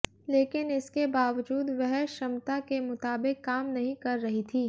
लेकिन इसके बावजूद वह क्षमता के मुताबिक काम नहीं कर रही थी